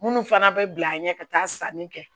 Minnu fana bɛ bila an ɲɛ ka taa sanni kɛ